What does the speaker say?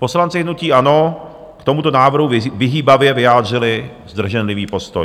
Poslanci hnutí ANO k tomuto návrhu vyhýbavě vyjádřili zdrženlivý postoj.